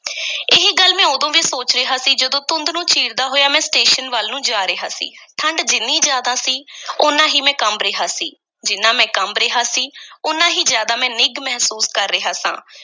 ਇਹ ਗੱਲ ਮੈਂ ਉਦੋਂ ਵੀ ਸੋਚ ਰਿਹਾ ਸੀ, ਜਦੋਂ ਧੁੰਦ ਨੂੰ ਚੀਰਦਾ ਹੋਇਆ ਮੈਂ ਸਟੇਸ਼ਨ ਵੱਲ ਨੂੰ ਜਾ ਰਿਹਾ ਸੀ, ਠੰਢ ਜਿੰਨੀ ਜ਼ਿਆਦਾ ਸੀ ਓਨਾ ਹੀ ਮੈਂ ਕੰਬ ਰਿਹਾ ਸੀ, ਜਿੰਨਾ ਮੈਂ ਕੰਬ ਰਿਹਾ ਸੀ ਓਨਾ ਹੀ ਜ਼ਿਆਦਾ ਮੈਂ ਨਿੱਘ ਮਹਿਸੂਸ ਕਰ ਰਿਹਾ ਸਾਂ।